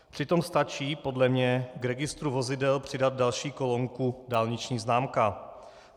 Přitom stačí podle mě k registru vozidel přidat další kolonku - dálniční známka.